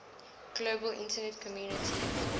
global internet community